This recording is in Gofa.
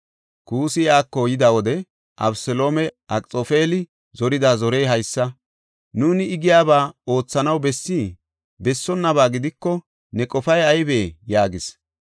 Kuussi iyako yida wode Abeseloomey, “Akxoofeli zorida zorey haysa; nuuni I giyaba oothanaw bessii? Bessonnaba gidiko, ne qofay aybee?” yaagis.